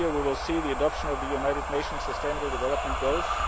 This year we will see the adoption of the United Nations Sustainable Development